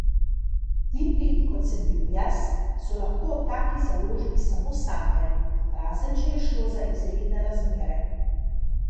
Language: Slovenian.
Tipi, kot sem bil jaz, so lahko o taki založbi samo sanjali, razen če je šlo za izredne razmere.